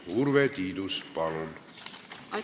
Urve Tiidus, palun!